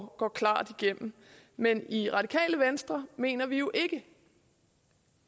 går klart igennem men i radikale venstre mener vi jo ikke